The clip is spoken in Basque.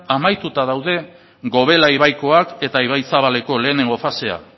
amaituta daude gobela ibaikoak eta ibaizabaleko lehenengo fasea